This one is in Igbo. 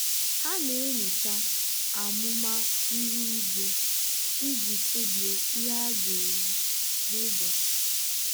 ha na-enyocha amụma ihu igwe iji kpebie ihe ha ga-eyi n'ụbọchị.